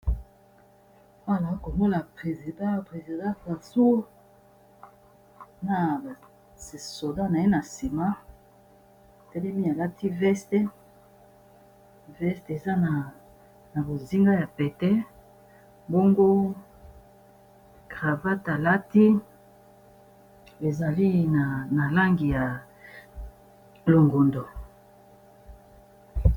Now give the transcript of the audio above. Awanazo komona president président francoi na soda na ye na nsima telemi alati veste eza na bozinga ya pete bongo cravat alati bezali na langi ya longondo